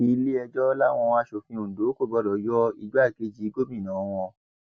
iléẹjọ làwọn asòfin ondo kò gbọdọ yọ igbákejì gómìnà wọn